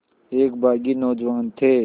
एक बाग़ी नौजवान थे